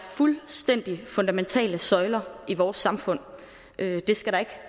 fuldstændig fundamentale søjler i vores samfund det skal der ikke